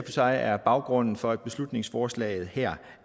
sig er baggrunden for at beslutningsforslaget her